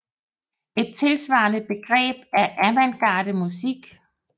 Et tilsvarende begreb er avantgarde musik